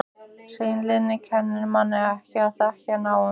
Hreinlyndið kennir manni ekki að þekkja náungann.